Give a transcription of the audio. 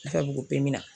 Nafa b'o na